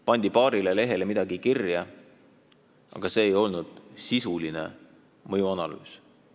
Pandi paarile lehele midagi kirja, aga see ei olnud sisuline mõjuanalüüs.